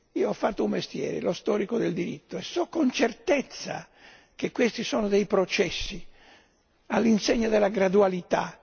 Io ho fatto un mestiere, lo storico del diritto, e so con certezza che questi sono dei processi all'insegna della gradualità.